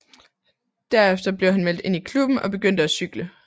Derefter blev han meldt ind i klubben og begyndte at cykle